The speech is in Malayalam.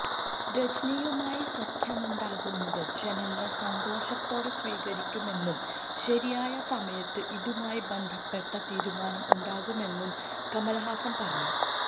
രജനിയുമായി സഖ്യമുണ്ടാക്കുന്നത് ജനങ്ങൾ സന്തോഷത്തോടെ സ്വീകരിക്കുമെന്നും ശരിയായ സമയത്ത് ഇതുമായി ബന്ധപ്പെട്ട തീരുമാനം ഉണ്ടാകുമെന്നും കമൽഹാസൻ പറഞ്ഞു